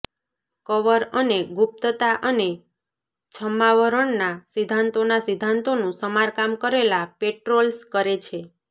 cover અને ગુપ્તતા અને છદ્માવરણના સિદ્ધાંતોના સિદ્ધાંતોનું સમારકામ કરેલા પેટ્રોલ્સ કરે છે